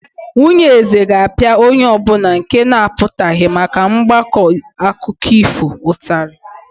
Nwunye eze ga-apịa onye ọ bụla nke na-apụtaghị maka mgbakọ akụkọ ifo ụtarị.